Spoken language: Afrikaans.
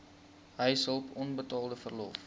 huishulp onbetaalde verlof